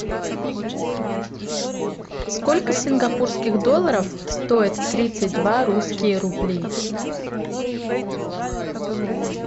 сколько сингапурских долларов стоит тридцать два русские рубли